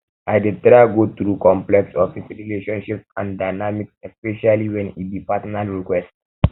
i dey try go through complex office relationships and dynamics especially wen e be personal request